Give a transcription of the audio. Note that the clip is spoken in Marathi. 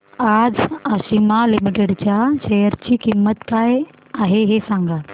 आज आशिमा लिमिटेड च्या शेअर ची किंमत काय आहे हे सांगा